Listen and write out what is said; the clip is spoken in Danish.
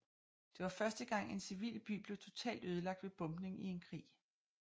Det var første gang en civil by blev totalt ødelagt ved bombning i en krig